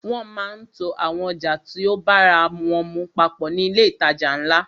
Wọ́n máa ń to àwọn ọjà tí o bára wọ́n mu papọ̀ ní ilé ìtajà ńlá.